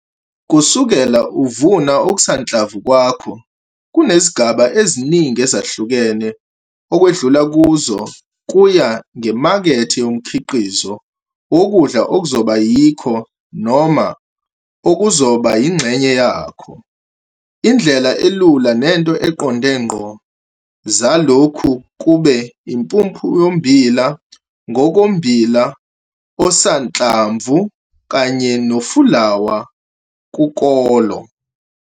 Kusukela uvuna okusanhlamvu kwakho kunezigaba eziningi ezahlukene okwedlula kuzo kuya ngemakethe yomkhiqizo wokudla okuzoba yikho noma okuzokuba yingxenye yakho. Indlela elula nento eqonde ngqo zalokhu kube impuphu yommbila ngokommbila osanhlamvu kanye nofulawa kukolo.